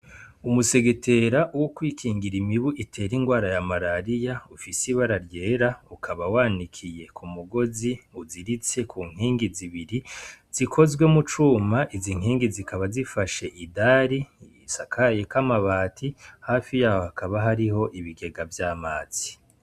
Umusegetera wo kwikingira imibu itera irwara ya marariya ,ufise ibara ryera ukaba wanikiye Ku mugozi uziritse Ku nkingi zibiri zikozwe mu cuma izi nkingi zikaba zifashe idari risakayeko amabati hafi yaho hakaba hari ibigega vy'amazi.